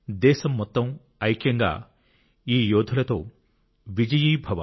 దేశం మొత్తం ఐక్యంగా ఈ యోధులతో విజయీభవ